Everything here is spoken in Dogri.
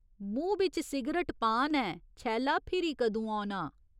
मूंह् बिच सिगरट पान ऐ छैला फिरी कदूं औना।